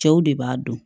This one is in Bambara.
Cɛw de b'a dɔn